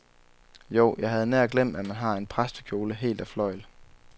Jo, jeg havde nær glemt, at han har en præstekjole helt af fløjl.